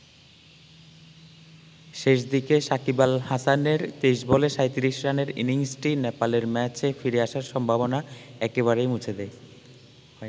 শেষ দিকে শাকিব আল হাসানের ২৩ বলে ৩৭ রানের ইনিংসটি নেপালের ম্যাচে ফিরে আসার সম্ভাবনা একেবারেই মুছে দেয়।